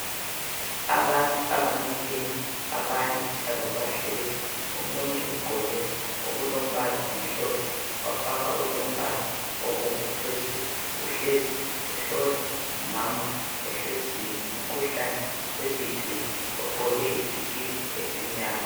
Abantu abamileyo abanye njalo bahlezi, omunye ugqoke okulombala omhlophe wafaka okulombala obomvu phezulu, uhlezi uhlola umama ohleziyo umkhuhlane weBP ogqoke isikipa esimnyama.